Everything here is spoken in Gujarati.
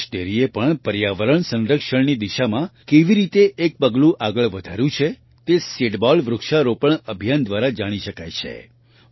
બનાસ ડેરીએ પણ પર્યાવરણ સંરક્ષણની દિશામાં કેવી રીતે એક પગલું આગળ વધાર્યું છે તે સીડબોલ વૃક્ષારોપણ અભિયાન દ્વારા જાણી શકાય છે